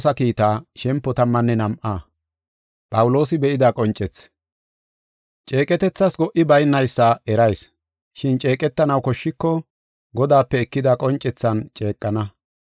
Ceeqetethas go77i baynaysa erayis. Shin ceeqetanaw koshshiko, Godaape ekida qoncethan ceeqana.